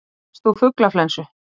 Drapst úr fuglaflensu